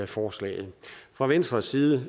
forslaget fra venstres side